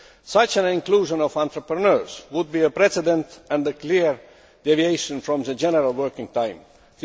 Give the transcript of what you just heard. The inclusion of entrepreneurs would be a precedent and a clear deviation from the general Working Time Directive.